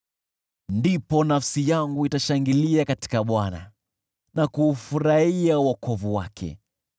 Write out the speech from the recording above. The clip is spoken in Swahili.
Ndipo nafsi yangu itashangilia katika Bwana na kuufurahia wokovu wake.